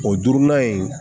O duurunan in